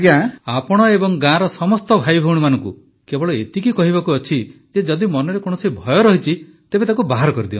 ପ୍ରଧାନମନ୍ତ୍ରୀ ଆପଣ ଏବଂ ଗାଁର ସମସ୍ତ ଭାଇଭଉଣୀମାନଙ୍କୁ କେବଳ ଏତିକି କହିବାକୁ ଅଛି ଯେ ଯଦି ମନରେ କୌଣସି ଭୟ ଅଛି ତେବେ ତାକୁ ବାହାର କରିଦିଅନ୍ତୁ